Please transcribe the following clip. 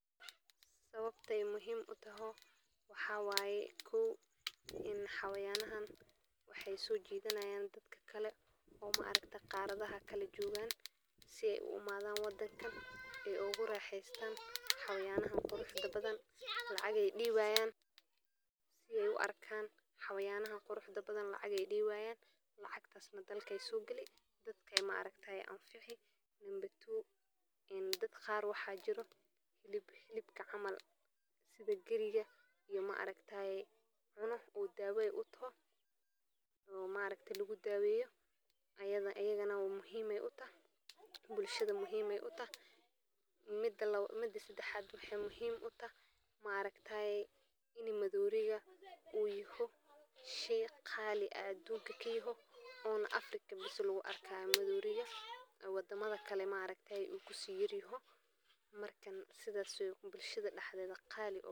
Waa mid ka mid ah goobaha ugu caansan ee dalxiiska iyo xayawaanka dunida, gaar ahaan marka la eego bogorta sare ee Kilimanjaro oo ah meel uu cirku ku soo baxo oo ah mid qurux badan oo laga arki karo halkaas, halkaas oo ay ku nool yihiin xayawaanka duurka sida maroodiga, libaaxyada, shabeelada, dawalada, wiyilada, iyo noocyo kale oo badan oo duurjoogto ah, sidaas awgeed waa goob ay dadka soo booqdaan iyagoo raadinaya aragtiyo qurux badan oo dabiici ah iyo waayo-aragnimo kala duwan, gaar ahaan marka ay timaado xilliga da’da cusub ee xoolaha nool marka ay dhashaan carruurtooda, sidoo kale waa goob taariikhi ah oo ay ku noolaayeen quruun badan.